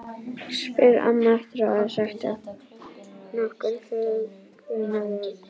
spyr amma eftir að hafa sagt nokkur huggunarorð.